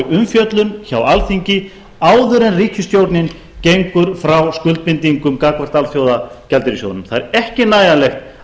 umfjöllun hjá alþingi áður en ríkisstjórnin gengur frá skuldbindingum gagnvart alþjóðagjaldeyrissjóðnum það er ekki nægjanlegt